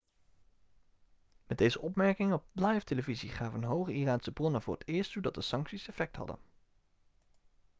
met deze opmerkingen op livetelevisie gaven hoge iraanse bronnen voor het eerst toe dat de sancties effect hadden